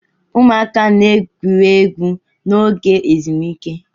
Ụmụaka na-egwuri egwu n'oge ezumike.